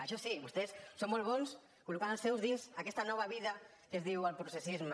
això sí vostès són molt bons col·locant els seus dins aquesta nova vida que es diu el processisme